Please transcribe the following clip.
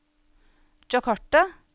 Jakarta